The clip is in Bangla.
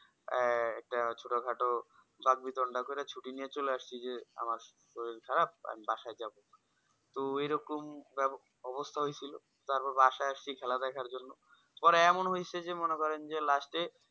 এ একটা ছোটো খাটো বাঘ বি দ্বন্দ্ব করে আমি ছুটি নিয়ে চলে আসছি যে আমার শরীর খারাপ আমি বাসায় যাবো তো এইরকম অবস্থা হয়েছিল তারপর বাসায় আসছি খেলার দেখার জন্য পরে এমন হয়েছে যে মনে করেন যে last এ